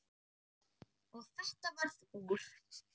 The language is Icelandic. Og þetta varð úr.